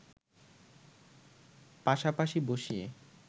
পাশাপাশি বসিয়ে